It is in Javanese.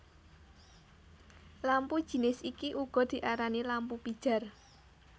Lampu jinis iki uga diarani lampu pijar